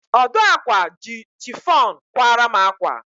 Ọdụ ákwà ji chifọn kwara m ákwà.